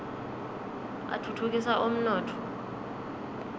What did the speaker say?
atfutfukisa umnotfo